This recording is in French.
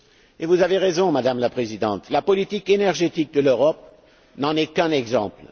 Et vous avez raison, Madame la Présidente, la politique énergétique de l'Europe n'en est qu'un exemple.